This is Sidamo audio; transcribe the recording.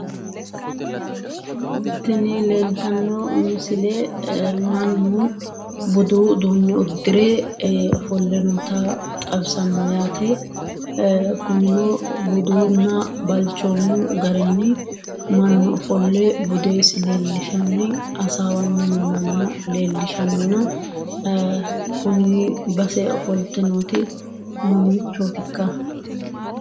Tini leeltanno misile mannu buduu uduunne uddire ofolle noota xawisanno yaate. Kunino buduunna balchoomu garinni mannu ofolle budeesi leellishanni hasaawanni no manna leellishannona kuni base ofolte nooti mamiichooti ikka?